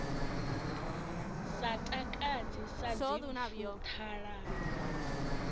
sa takadzi sa dzimpfu ṱhalano